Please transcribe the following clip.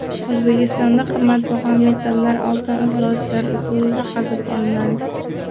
O‘zbekistonda qimmatbaho metallar oltin izlovchilar usulida qazib olinadi.